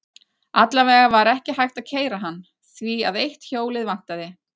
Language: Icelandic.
Alla vega var ekki hægt að keyra hann, því að eitt hjólið vantaði.